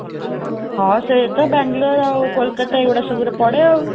ହଁ, ସେଇ ତ ବାଙ୍ଗାଲୋର ଆଉ କୋଲକତା, ଏଗୁଡ଼ା ସବୁରେ ପଡ଼େ.ଆଉ